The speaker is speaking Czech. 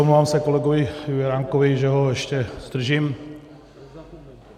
Omlouvám se kolegovi Juránkovi, že ho ještě zdržím.